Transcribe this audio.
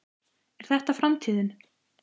Er þetta framtíðin?